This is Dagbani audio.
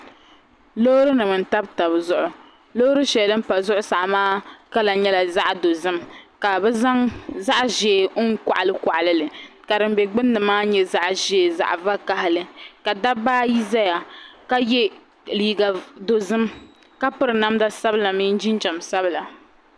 Loori nima n tabi taba zuɣu loori shɛli din pa zuɣusaa maa mala yɛla zaɣi dozim ka bi zaŋ zaɣi zɛɛ n kɔɣili kɔɣili li ka dim bɛ gbunni maa yɛ zaɣi zɛɛ zaɣi vakahali dabba ayi zay6kay ka yɛ liiga dozim ka piri namda sabila mini jinjam sabila.